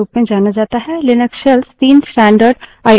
Linux shells तीन standard I O i/o streams का उपयोग करते हैं